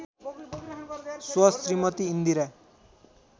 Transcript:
स्व श्रीमती इन्दिरा